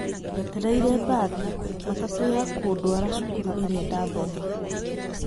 Ndetereire mbathi (matatũ) ya kũndwara cukuru ĩrĩa ndaathomaga.